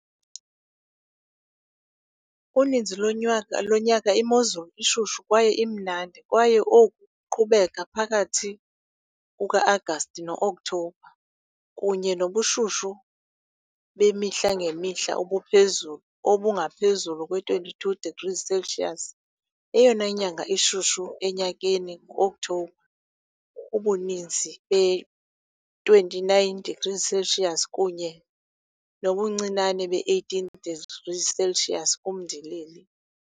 Uninzi lonyaka imozulu ishushu kwaye imnandi, kwaye oku kuqhubeka phakathi kuka-Agasti no-Okthobha, kunye nobushushu bemihla ngemihla obuphezulu obungaphezulu kwe-22 degrees Celsius. Eyona nyanga ishushu enyakeni ngu-Okthobha, ubuninzi be-29 degrees Celsius kunye nobuncinane be-18 degrees Celsius kumndilili.